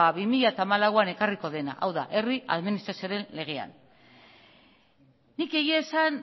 ba bi mila hamalauean ekarriko dena hau da herri administrazioaren legean nik egia esan